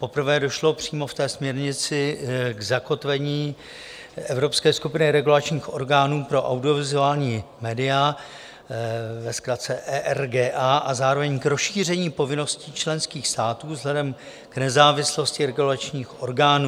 Poprvé došlo přímo v té směrnici k zakotvení evropské skupiny regulačních orgánů pro audiovizuální média, ve zkratce ERGA, a zároveň k rozšíření povinností členských států vzhledem k nezávislosti regulačních orgánů.